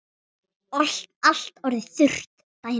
Allt orðið þurrt daginn eftir.